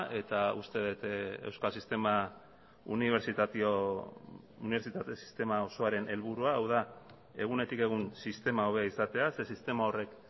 eta uste dut euskal sistema unibertsitate sistema osoaren helburua dela hau da egunetik egun sistema hobea izatea zeren eta sistema horrek